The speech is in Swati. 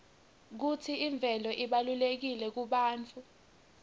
kutsi imvelo ibalulekile kubantfu